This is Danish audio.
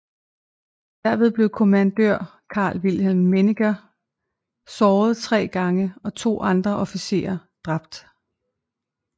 Derved blev Kommandør Carl Wilhelm Weniger såret tre gange og to andre officerer dræbt